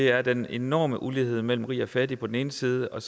er den enorme ulighed mellem rig og fattig på den ene side og